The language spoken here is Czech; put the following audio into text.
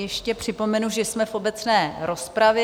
Ještě připomenu, že jsme v obecné rozpravě.